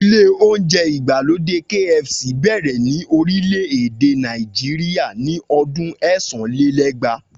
Ilé oúnjẹ ìgbàlódé KFC bẹ̀rẹ̀ ni orílẹ̀ èdè Nàìjíríà ni ọdún ẹ́sàn-án-lé-lẹ́gbàá